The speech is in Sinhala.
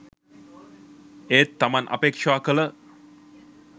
ඒත් තමන් අපේක්ෂා කළ